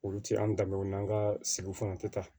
Olu ti an danbew n'an ka sigi fana tɛ taa